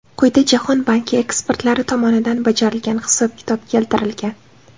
Quyida Jahon banki ekspertlari tomonidan bajarilgan hisob-kitob keltirilgan.